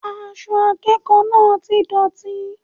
Aṣọ akẹ́kọ̀ọ́ náà ti dọ̀tí